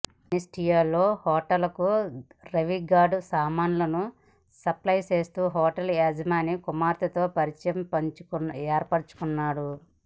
జేఎన్టీయూలో హోటల్కు రవిగౌడ్ సామాన్లను సప్లయ్ చేస్తూ హోటల్ యజమాని కుమార్తెతో పరిచయం ఏర్పరుచుకున్నాడు